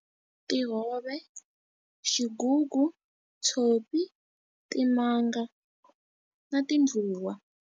Tihove, xigugu, tshopi, timanga, na tindluwa.